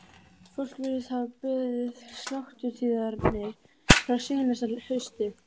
Fólk virtist hafa beðið sláturtíðarinnar frá seinasta hausti.